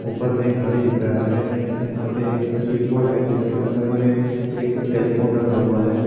ऊपर में एक घड़ी दिख रहा है यहां पर एक स्विच बोर्ड है जिसके बगल में एक टेलीफोन रखा हुआ है।